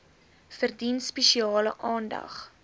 verdien spesiale aandag